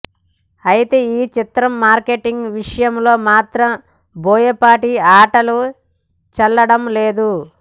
అయితే ఈ చిత్రం మార్కెటింగ్ విషయంలో మాత్రం బోయపాటి ఆటలు చెల్లడం లేదు